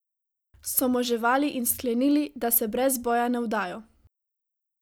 So moževali in sklenili, da se brez boja ne vdajo.